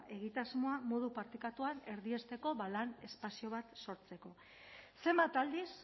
egitasmoa modu partekatuan erdiesteko lan espazio bat sortzeko zenbat aldiz